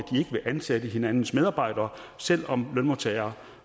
ansætte hinandens medarbejdere selv om lønmodtagere